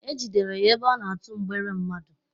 E jidere ya ebe ọ na-atụ mgbere mmadu